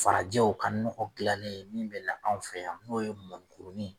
Farajɛw ka nɔgɔ dilannen min bɛ na na anw fɛ yan n'o ye mɔnikurunin